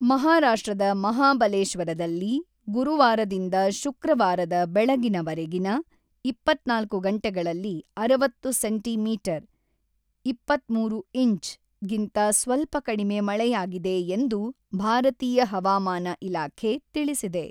ಮಹಾರಾಷ್ಟ್ರದ ಮಹಾಬಲೇಶ್ವರದಲ್ಲಿ ಗುರುವಾರದಿಂದ ಶುಕ್ರವಾರದ ಬೆಳಗಿನವರೆಗಿನ ಇಪತ್ತ್ನಾಲ್ಕು ಗಂಟೆಗಳಲ್ಲಿ ಅರವತ್ತು ಸೇಂಟಿ ಮೀಟರ್ (ಇಪ್ಪತ್ತ್ಮೂರು ಇಂಚ್) ಗಿಂತ ಸ್ವಲ್ಪ ಕಡಿಮೆ ಮಳೆಯಾಗಿದೆ ಎಂದು ಭಾರತೀಯ ಹವಾಮಾನ ಇಲಾಖೆ ತಿಳಿಸಿದೆ.